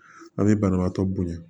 A bɛ banabaatɔ bonya